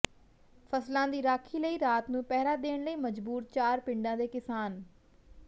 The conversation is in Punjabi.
ਫ਼ਸਲਾਂ ਦੀ ਰਾਖੀ ਲਈ ਰਾਤ ਨੂੰ ਪਹਿਰਾ ਦੇਣ ਲਈ ਮਜਬੂਰ ਚਾਰ ਪਿੰਡਾਂ ਦੇ ਕਿਸਾਨ